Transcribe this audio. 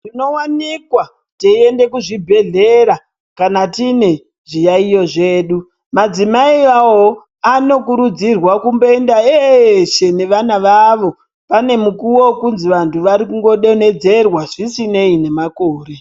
Tinowanikwa teienda kuzvibhedhlera kana tine zviyaiyo zvedu , madzimai ayayowo anokurudzirwa kumboenda eshe nevana vavo pane mukuwo wekuzi vantu vari kungo donhedzerwa zvisinei nemakore.